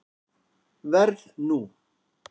Verð nú.